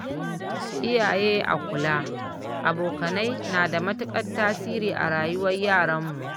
Iyaye a kula, abokanai na da matuƙar tasiri a rayuwar yaranmu